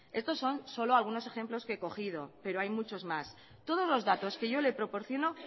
estos son solo algunos ejemplos que he cogido pero hay muchos más todos los datos que yo le proporciono